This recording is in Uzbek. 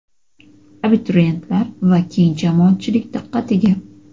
Abituriyentlar va keng jamoatchilik diqqatiga.